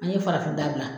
An ye farafinda gilan